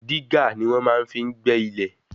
Dígà ni wọ́n máa fi ń gbẹ́ ilẹ̀.